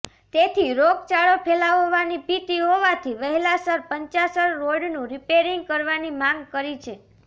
તેથી રોગચાળો ફેલાવવાની ભીતી હોવાથી વહેલાસર પંચાસર રોડનુ રીપેરીંગ કરવાની માંગ કરી છે